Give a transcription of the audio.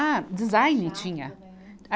Ah, design tinha.